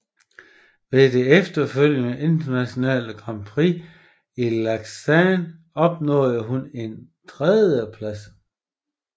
Ved det efterfølgende internationale grand prix i Lausanne opnåede hun en tredjeplads